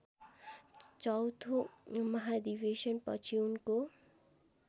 चौथो महाधिवेशनपछि उनको